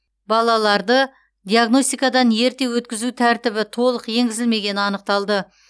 балаларды диагностикадан ерте өткізу тәртібі толық енгізілмегені анықталды